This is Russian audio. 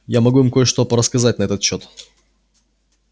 я могу им кое-что порассказать на этот счёт